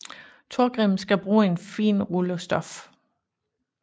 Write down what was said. Torgrim skal bruge en fin rulle stof